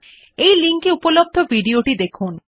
এই লিঙ্ক এ উপলব্ধ ভিডিও টি দেখুন